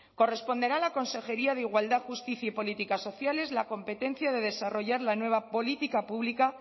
corresponderá a la consejería de igualdad justicia y políticas sociales la competencia de desarrollar la nueva política pública